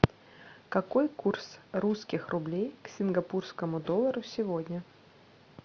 какой курс русских рублей к сингапурскому доллару сегодня